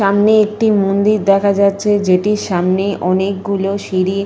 সামনে একটি মন্দির দেখা যাচ্ছে। যেটির সামনে অনেকগুলি সিঁড়ি --